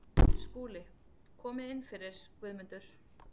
SKÚLI: Komið inn fyrir, Guðmundur.